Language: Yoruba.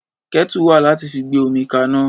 Kẹ́tù wà láti fi gbé omi kaná.